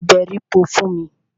Se èbèripò fún mi!